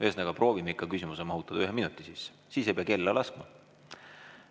Ühesõnaga, proovime ikka küsimuse mahutada ühe minuti sisse, siis ei pea kella laskma.